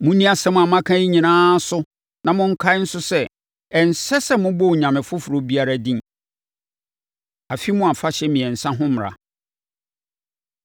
“Monni nsɛm a maka yi nyinaa so na monkae nso sɛ, ɛnsɛ sɛ mobɔ onyame foforɔ biara din. Afe Mu Afahyɛ Mmiɛnsa Ho Mmara